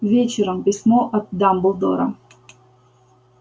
вечером письмо от дамблдора